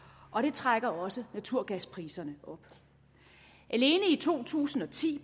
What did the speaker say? og det trækker også naturgaspriserne op alene i to tusind og ti